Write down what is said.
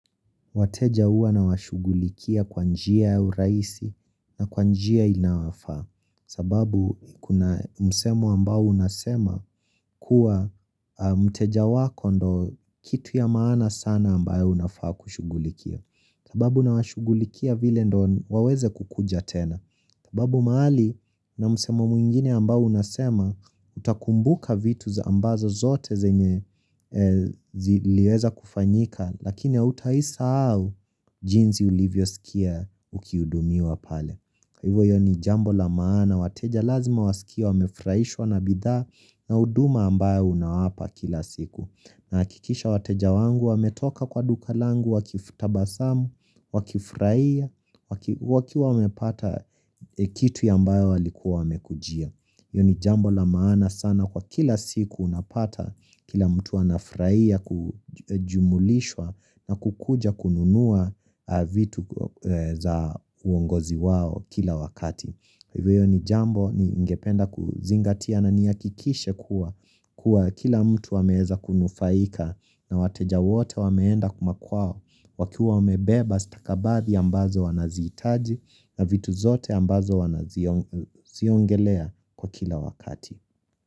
Wateja uwa nawashugulikia kwa njia ya uraisi na kwanjia inafaa. Sababu kuna msemo ambao unasema kuwa mteja wako ndo kitu ya maana sana ambayo unafaa kushugulikia. Sababu na washugulikia vile ndo waweze kukuja tena. Sababu mahali na msemo mwengine ambao unasema utakumbuka vitu za ambazo zote zenye ziliweza kufanyika. Lakini utaisahau jinsi ulivyo sikia ukiudumiwa pale Hivo yoni jambo la maana wateja lazima wasikie wamefraishwa na bidha na uduma ambayo unaapa kila siku nakikisha wateja wangu wametoka kwa duka langu wakifutabasamu wakifraia wakiwa wamepata kitu ya ambayo walikuwa wamekujia Yoni jambo la maana sana kwa kila siku unapata kila mtu wanafraia kujumulishwa na kukuja kununua vitu za uongozi wao kila wakati. Hivyo ni jambo ni ingependa kuzingatia na niyakikishe kuwa kila mtu ameeza kunufaika na wateja wote wameenda kumakuao wakiuwa wamebeba stakabathi ambazo wanaziitaji na vitu zote ambazo wanaziongelea kwa kila wakati.